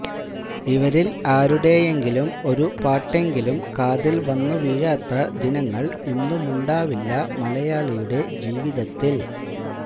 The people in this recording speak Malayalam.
ഇവരില് ആരുടെയെങ്കിലും ഒരു പാട്ടെങ്കിലും കാതില് വന്നുവീഴാത്ത ദിനങ്ങള് ഇന്നുമുണ്ടാവില്ല മലയാളിയുടെ ജീവിതത്തില്